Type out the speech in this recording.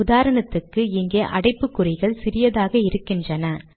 உதாரணத்துக்கு இங்கே அடைப்புக்குறிகள் சிறியதாக இருக்கின்றன